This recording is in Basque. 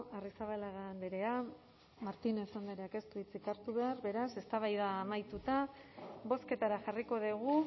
arrizabalaga andrea martínez andreak ez du hitzik hartu behar beraz eztabaida amaituta bozketara jarriko dugu